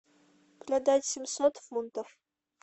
продать семьсот фунтов